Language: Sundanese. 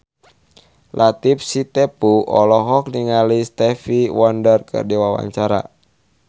Latief Sitepu olohok ningali Stevie Wonder keur diwawancara